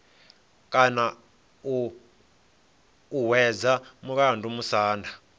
kona u hwedza mulandu musanda